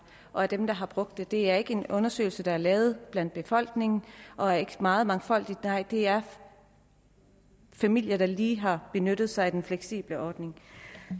og er dem der har brugt den det er ikke en undersøgelse der er lavet blandt befolkningen og er meget mangfoldig nej det er familier der lige har benyttet sig af den fleksible ordning